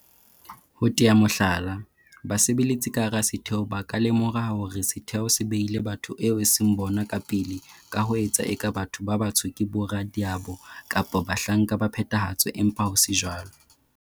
Ho tea mohlala, basebeletsi ka hara setheo ba ka lemoha hore setheo se behile batho bao e seng bona ka pele ka ho etsa eka batho ba batsho ke boradiabo kapa bahlanka ba phethahatso empa ho se jwalo,